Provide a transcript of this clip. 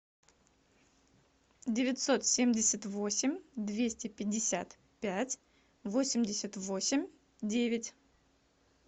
девятьсот семьдесят восемь двести пятьдесят пять восемьдесят восемь девять